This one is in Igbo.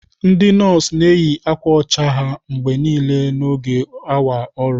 Ndị nọọsụ na-eyi akwa ọcha ha mgbe niile n'oge awa ọrụ.